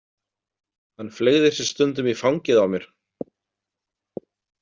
Hann fleygði sér stundum í fangið á mér.